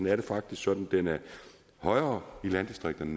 er det faktisk sådan at den er højere i landdistrikterne